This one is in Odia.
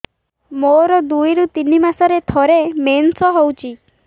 ମୋର ଦୁଇରୁ ତିନି ମାସରେ ଥରେ ମେନ୍ସ ହଉଚି